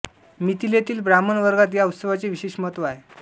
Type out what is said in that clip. मिथिलेतील ब्राह्मण वर्गात या उत्सवाचे विशेष महत्व आहे